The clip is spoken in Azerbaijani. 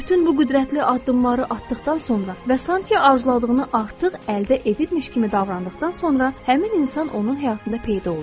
Bütün bu qüdrətli addımları atdıqdan sonra və sanki arzuladığını artıq əldə edibmiş kimi davrandıqdan sonra həmin insan onun həyatında peyda oldu.